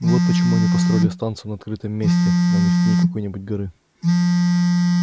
вот почему они и построили станцию на открытом месте а не в тени какой-нибудь горы